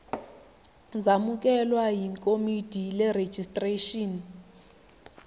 zamukelwe yikomidi lerejistreshini